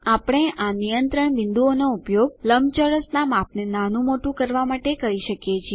આપણે આ નિયંત્રણ બિંદુઓનો ઉપયોગ લંબચોરસનાં માપને નાનું મોટું કરવાં માટે કરી શકીએ છીએ